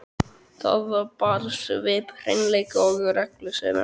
Það bar svip hreinleika og reglusemi.